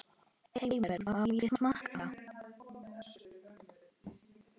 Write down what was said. Heimir: Má ég smakka?